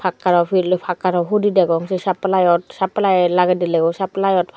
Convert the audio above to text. pakkaro pil pakkaro hudi degong sei suplyot supply lagey dilegoi supplyot.